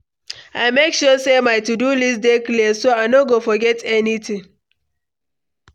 I make sure say my to-do list dey clear, so I no go forget anything.